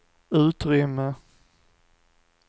utrymme